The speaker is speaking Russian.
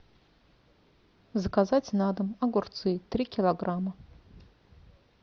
заказать на дом огурцы три килограмма